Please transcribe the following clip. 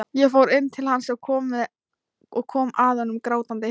Ég fór inn til hans og kom að honum grátandi.